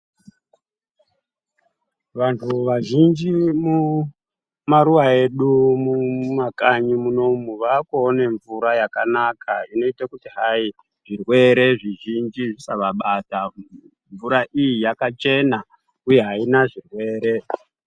Vantu vazhinji vemamaruwa edu mumakanyi munomu vakuone mvura yakanaka inoite kuti hai zvirwere zvizhinji zvisavabata mvura iyi yakachena uye aina zvirwere.